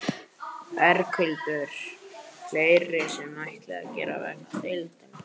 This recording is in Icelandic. Berghildur: Fleira sem þið ætlið að gera vegna deilunnar?